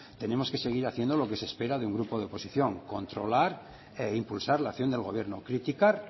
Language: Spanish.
tenemos que seguir haciendo lo que se espera de un grupo de oposición controlar e impulsar la acción del gobierno criticar